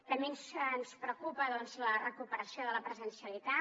també ens preocupa la recuperació de la presencialitat